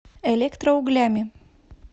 электроуглями